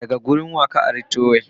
Wa ka ari trowel daga?